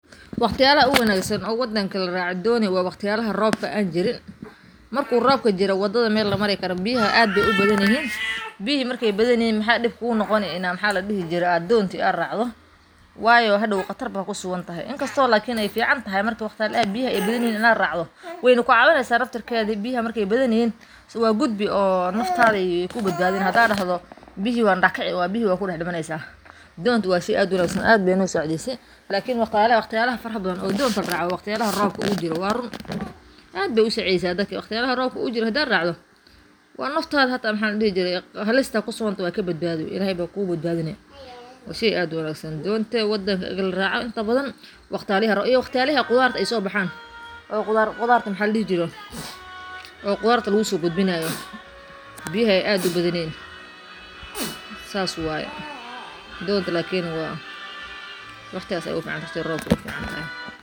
Wakhtiyada ugu wanaagsan oo wadanka la raaco dooni waa wakhtiyada roobka aan jirin marku roobka jiro wadadha mel la mari karo biyaha ad aye ubadhayihin biyihi marke badhayihin mxa diib kugu noqoni maxa la diixi jire doonta aaad raacdo waayo haadow khtaar ba ku suugantahay in kasto lakini ee fiicantahay markii biyaha ee badhayihin ina raacdo weyna ku cawineysa naftiirkedi biyaha marke badhayihin waad guudbii oo naftadha ee ku baad badhini hada daxdo biyihi aa daax kiici biyaha waad ku daax dimaneysa doonto waa sheeg aad u wanaagsan lakini waa run wakhtiyalada roobka ad bey u sacideysa daadka asigo robka jiro hada racdid qatarta halista ilahay kabadbadini waa sheey ad u wanaagsan intaa baadhan iyo wakhtiyalaha ee qudarta so baaxan waaxa la dixiijire oo qudarta lagu so gudbinayo oo biyaha aad ubadhan saas wye doonta lakini!wakhtiigas ayey ugu fiicantahay hadi rob